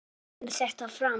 kemur þetta fram